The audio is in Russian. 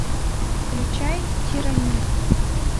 включай тирания